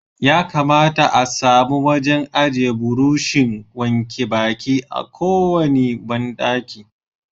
Ya kamata a samu wajen aje burushin wanke baki a kowane bandaki.